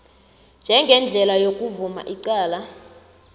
njengendlela yokuvuma icala